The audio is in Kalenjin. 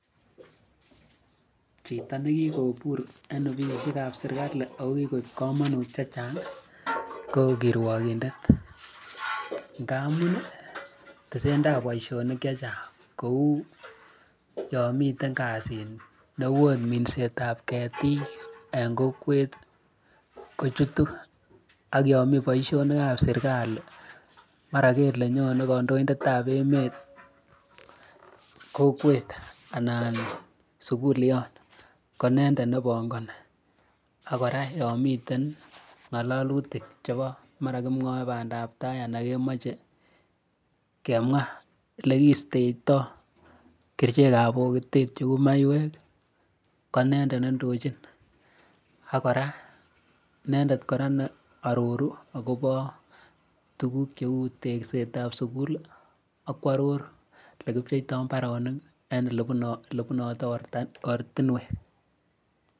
Chito ne kikobur eng ofisishekab sirikali aku kikuib kamunut che chang ko kirwakindet. Ngamun tisendab boishonik che chang kou yo miten kasit neu en minsetab ketik en kokwet ko chutu ak yomi boishonikab serikali mara kele nyone kandoindetab emet kokwet anan sukulyot ko inendet ne pongoni aku kora yon miten ng'alalutik chebo mara kimwoe bandab tai anan kimache kemwa ole kiisteitoi tisiekab bokitet cheu maiwek ko inendet ne ndochin ak kora inendet ne iroru akobo tukuk cheu teksetab sukul akuaror le kipcheitoi mbaronik ak le bunoto ortinwek.